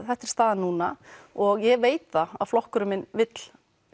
þetta er staðan núna og ég veit að flokkurinn minn vill